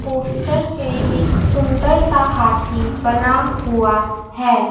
Poster पे एक सुंदर सा हाथी बना हुआ है।